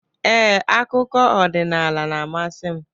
Ee, akụkọ ọdịnala na-amasị m.